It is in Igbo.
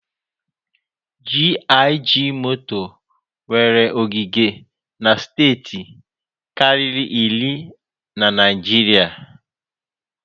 GIG moto nwere ogige na steeti karịri iri na Naịjirịa.